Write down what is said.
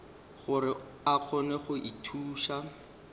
gore a kgone go ithuša